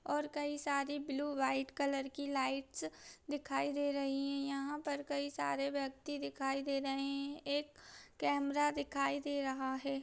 और कई सारे ब्लू व्हाइट कलर की लाइट्स दिखाईी दे रही है यहाँ पर कई सारे व्यक्ति दिखाईी दे रहे है एक कैमरा दिखाई दे रहा है।